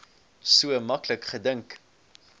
so maklik gedink